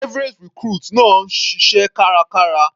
Private recruit náà ń ṣiṣẹ́ kárakára.